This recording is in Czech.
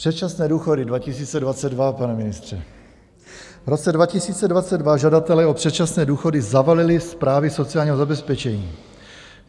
Předčasné důchody 2022, pane ministře, v roce 2022 žadatelé o předčasné důchody zavalili správy sociálního zabezpečení.